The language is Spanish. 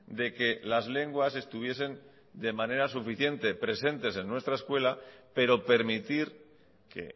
de que las lenguas estuviesen de manera suficiente presentes en nuestra escuela pero permitir que